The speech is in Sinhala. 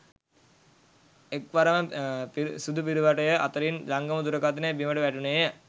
එක්වරම සුදුපිරුවටය අතරින් ජංගම දුරකථනය බිමට වැටුනේය